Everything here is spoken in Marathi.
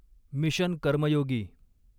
मिशन कर्मयोगी